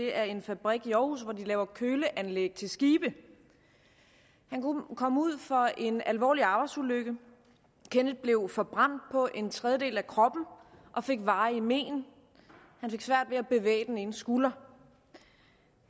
er en fabrik i aarhus hvor de laver køleanlæg til skibe han kom ud for en alvorlig arbejdsulykke kenneth blev forbrændt på en tredjedel af kroppen og fik varige men han fik svært ved at bevæge den ene skulder